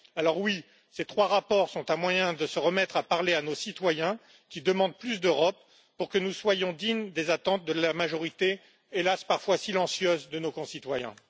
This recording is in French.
Alors, oui, ces trois rapports sont un moyen de se remettre à parler à nos citoyens, qui demandent plus d'Europe, pour que nous soyons dignes des attentes de la majorité hélas parfois silencieuse de nos concitoyens.